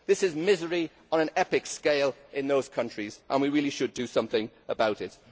This is misery on an epic scale in those countries, and we really should do something about it.